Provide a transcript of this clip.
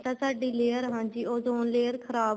ਤਾਂ ਸਾਡੀ layer ਹਾਂਜੀ ozone layer ਖ਼ਰਾਬ